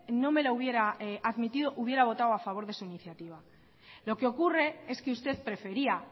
no me la hubiera admitido hubiera votado a favor de su iniciativa lo que ocurre es que usted prefería